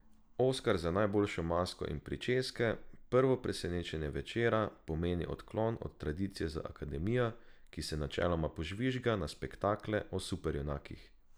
Oskar za najboljšo masko in pričeske, prvo presenečenje večera, pomeni odklon od tradicije za Akademijo, ki se načeloma požvižga na spektakle o superjunakih.